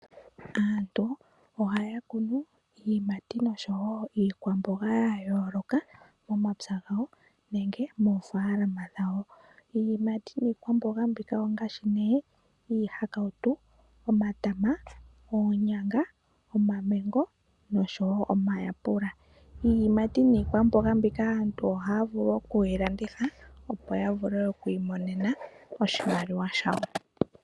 Aantu ohaya kunu iiyimati noshowo iikwamboga ya yooloka momapya gawo nenge moofaalama dhawo. Iiyimati niikwamboga mbika ongaashi nee iihakautu, omatama, oonyanga, omamengo noshowo omayapula. Iiyimati niikwamboga mbika aantu ohaya vulu oku yi landitha opo ya vule okwiimonena oshimaliwa shawo.